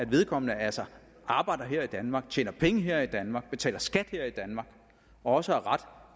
vedkommende altså arbejder her i danmark tjener penge her i danmark betaler skat her i danmark og også har ret